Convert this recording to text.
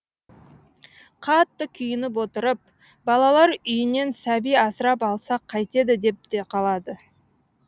қатты күйініп отырып балалар үйінен сәби асырап алсақ қайтеді деп те қалады